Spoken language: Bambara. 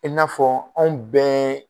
I n'a fɔ anw bɛɛ